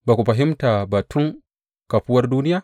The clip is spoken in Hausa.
Ba ku fahimta ba tun kafawar duniya?